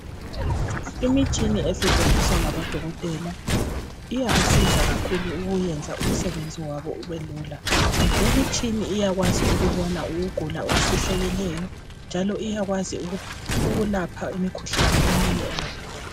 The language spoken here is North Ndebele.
Imitshina esetshenziswa ngabodokotela, iyabasiza kakhulu ukuyenza umsebenziwabo ubelula . Le imitshina iyakwazi ukubona ukugula okufihlakeleyo njalo iyakwazi ukulapha imikhuhlane eminye